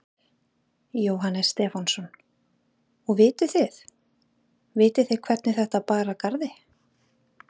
Jóhannes Stefánsson: Og vituð þið, vitið þið hvernig þetta bar að garði?